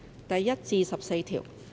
第1至14條。